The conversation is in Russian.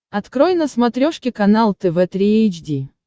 открой на смотрешке канал тв три эйч ди